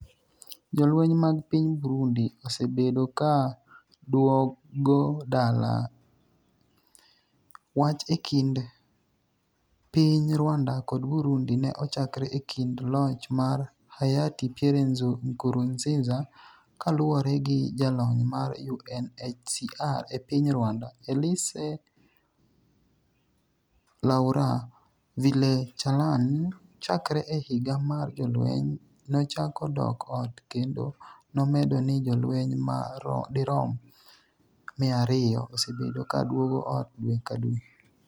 Jolweny mag piny Burundi osebedo ka duogo dala: Image source, PRESIDENCY.GOV.B Image caption, Wach e kind piny Rwanda kod Burundi ne ochakre e kinde loch mar Hayati Pierre Nkurunziza Kaluwore gi jalony mar UNHCR e piny Rwanda, Elise Laura Villechalane, chakre e higa mar jolweny nochako dok ot kendo nomedo ni jolweny ma dirom 200 osebedo ka duogo ot dwe ka dwe.